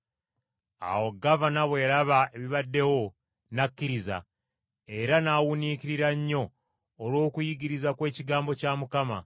Awo gavana bwe yalaba ebibaddewo, n’akkiriza, era n’awuniikirira nnyo olw’okuyigiriza kw’ekigambo kya Mukama.